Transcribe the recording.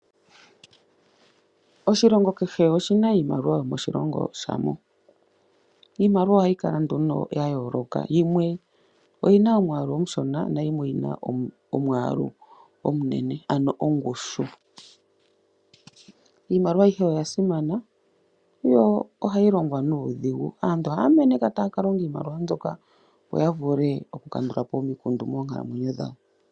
Oshilongo kehe oshina oshimaliwa shoshilongo shasho. Iimaliwa ohayi kala nduno yayooloka, yimwe oyina omwaalu omushona nayimwe oyina omwaalu omunene, ano ongushu. Iimaliwa ayihe oya simana yo ohayi longwa nuudhigu. Aantu ohaya meneka tayaka longa iimaliwa mbyoka opo yavule okukandulapo omikundu moonkalamwenyo dhawo.